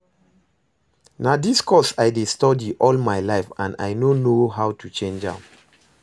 Na dis course I dey study all my life and I no know how to change am